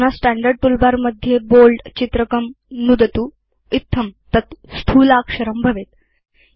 अधुना standard toolbar मध्ये Bold चित्रकं नुदतु इत्थं तत् स्थूलाक्षरं भवेत्